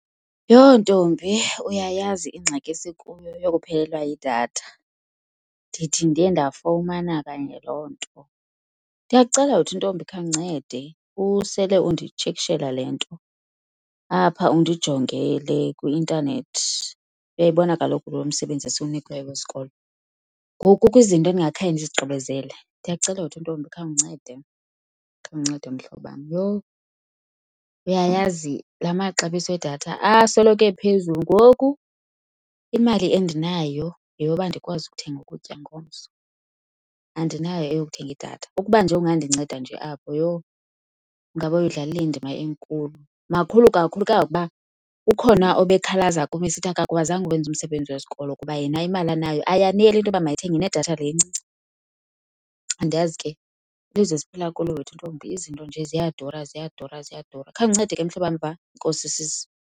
Yho! Ntombi, uyayazi ingxaki esikuyo yokuphelelwa yidatha. Ndithi ndiye ndafumana kanye loo nto. Ndiyakucela wethu ntombi, khawundincede usele unditshekishela le nto apha, undijongele kwi-intanethi. Uyayibona kaloku lo msebenzi esiwunikiweyo wesikolo, ngoku kukho izinto endingakhange ndizigqibezele. Ndiyakucela wethu intombi, khawundincede, khawundincede mhlobam. Yho, uyayazi, la maxabiso edatha asoloko ephezulu. Ngoku imali endinayo yeyoba ndikwazi ukuthenga ukutya ngomso, andinayo eyokuthenga idatha. Ukuba nje ungandinceda nje apho, yho, ingaba uyidlalile indima enkulu. Makhulu kakhulu kangangokuba ukhona obekhalaza kum esithi akwakwazanga uwenza umsebenzi wesikolo kuba yena imali anayo ayaneli into yoba mayithenge nedatha le incinci. Andiyazi ke, lilizwe esiphila kulo wethu intombi. Izinto nje ziyadura, ziyadura, ziyadura. Khawundincede ke mhlobam, uyeva? Enkosi sisi.